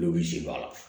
Dɔw b'i si bɔ a la